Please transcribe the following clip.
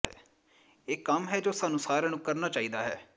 ਇਹ ਕੰਮ ਹੈ ਜੋ ਸਾਨੂੰ ਸਾਰਿਆਂ ਨੂੰ ਕਰਨਾ ਚਾਹੀਦਾ ਹੈ